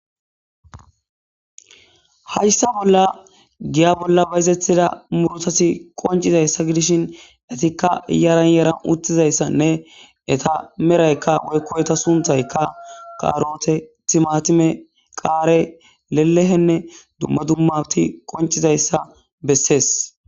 Hayssa bolla giya bolla bayizethida murotasi qoncizayssa gidishin etikka yaranyaran uttizayssanne eta meraykka oykko eta sunthaykka kaarote timatime qaare lelehenne dumma dummati qoncizayssa bessees